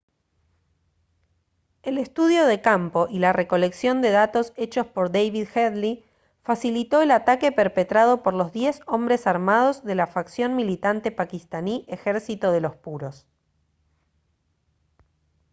el estudio de campo y la recolección de datos hechos por david headley facilitó el ataque perpetrado por los 10 hombres armados de la facción militante paquistaní ejército de los puros